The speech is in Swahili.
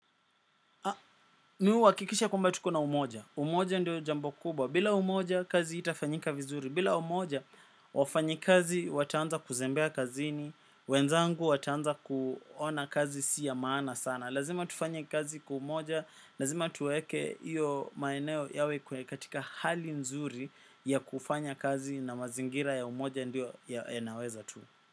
Mi hakikisha kwamba tuko na umoja. Umoja ndio jambo kubwa. Bila umoja kazi itafanyika vizuri. Bila umoja wafanyi kazi wataanza kuzembea kazini. Wenzangu wataanza kuona kazi si ya maana sana. Lazima tufanya kazi kwa umoja. Lazima tuweke iyo maeneo yawe kwe katika hali nzuri ya kufanya kazi na mazingira ya umoja ndio yanaweza tu.